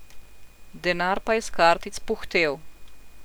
Denar pa je s kartic puhtel.